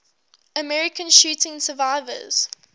american shooting survivors